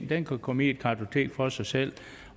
den kan komme i et kartotek for sig selv